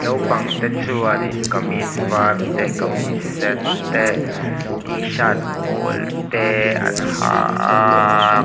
naupangte chuanin kamis var te kamis sen te tshirt pawl te an ha aaa.